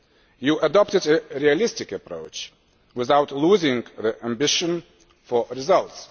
you adopted a realistic approach, without losing the ambition for results.